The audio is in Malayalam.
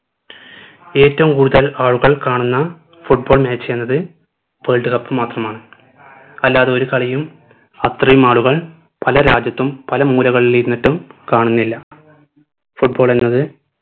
ഏറ്റവും കൂടുതൽ ആളുകൾ കാണുന്ന football match എന്നത് world cup മാത്രമാണ് അല്ലാതെ ഒരു കളിയും അത്രയും ആളുകൾ പല രാജ്യത്തും പല മൂലകളിലുരുന്നിട്ടും കാണുന്നില്ല football എന്നത്